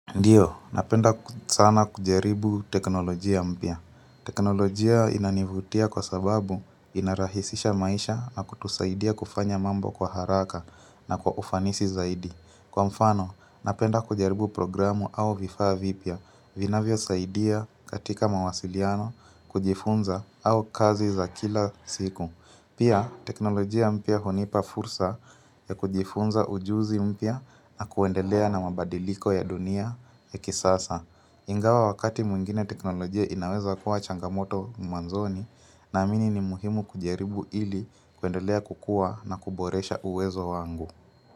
Ndio, napenda sana kujaribu teknolojia mpya. Teknolojia inanivutia kwa sababu inarahisisha maisha na kutusaidia kufanya mambo kwa haraka na kwa ufanisi zaidi. Kwa mfano, napenda kujaribu programu au vifaa vipya vinavyo saidia katika mawasiliano kujifunza au kazi za kila siku. Pia, teknolojia mpia honipa fursa ya kujifunza ujuzi mpia na kuendelea na mabadiliko ya dunia ya kisasa. Ingawa wakati mwingine teknolojia inaweza kuwa changamoto mwanzoni na amini ni muhimu kujaribu ili kuendelea kukua na kuboresha uwezo wangu.